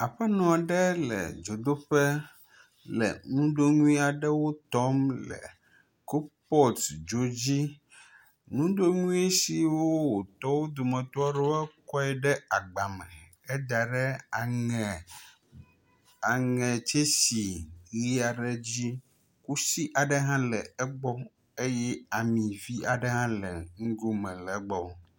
Aƒenɔ aɖe le dzodoƒe le nudonui aɖewo tɔm le kubɔtudzo dzi. Nudonui siwo wòtɔ aɖewo dometɔ ekɔe ɖe agba me heda ɖe aŋe aŋetsɛsi ʋi aɖe dzi. Kusi aɖe hã le egbɔ eye ami vi aɖe le nugo me hã le egbɔ.